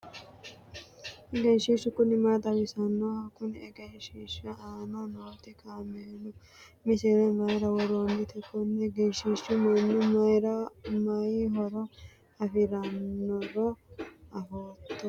egenshiishshu kuni maa xawisannoho? kunni egenshiishsha aana nooti kaameelu misile maayira worroonnite? konni egenshiishshinni mannu mayi horo afirannoro afootto ati?